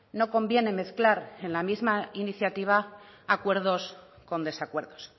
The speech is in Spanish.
no conviene mezclar en la misma iniciativa acuerdos con desacuerdos